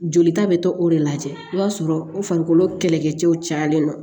Jolita bɛ to o de lajɛ i b'a sɔrɔ o farikolo kɛlɛkɛcɛw cayalen don